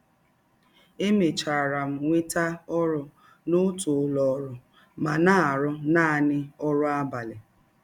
Emechara m nweta ọrụ n’ọtụ ụlọ ọrụ ma na - arụ naanị ọrụ abalị.